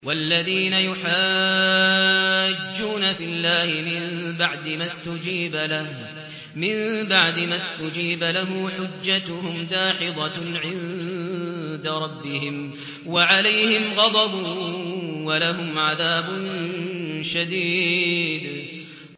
وَالَّذِينَ يُحَاجُّونَ فِي اللَّهِ مِن بَعْدِ مَا اسْتُجِيبَ لَهُ حُجَّتُهُمْ دَاحِضَةٌ عِندَ رَبِّهِمْ وَعَلَيْهِمْ غَضَبٌ وَلَهُمْ عَذَابٌ شَدِيدٌ